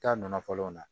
Taa nɔ fɔlɔ la